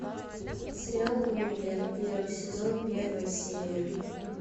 сериал универ первый сезон первая серия